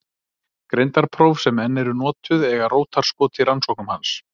Greindarpróf sem enn eru notuð eiga rótarskot í rannsóknum hans.